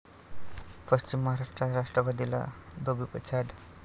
पश्चिम महाराष्ट्रात राष्ट्रवादीला धोबीपछाड